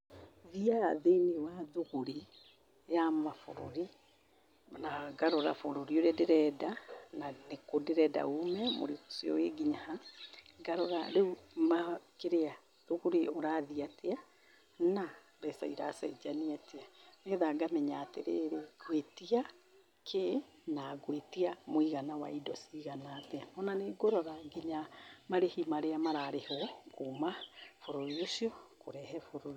Thiaga thĩ-inĩ wa thũgũrĩ ya mabũrũri, na ngarora bũrũri ũrĩa ndĩrenda, na nĩ kũ ndĩrenda ume, mũrigo ũcio wĩ nginya ha, ngarora rĩu ma kĩrĩa thũgũrĩ ũrathiĩ atĩa, na mbeca iracenjania atĩa, nĩ getha ngamenya atĩrĩrĩ, ngwĩtia kĩ, na ngwĩtia mũigana wa indo cigana atĩa, ona nĩ ngũrora nginya mũigana wa marĩhi maria mararĩhwo kuma bũrũri ũcio kũrehe bũrũ